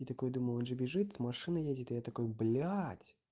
и такой думал он же бежит машина едет и я такой блядь